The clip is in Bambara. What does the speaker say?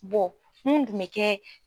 mun tun bɛ kɛ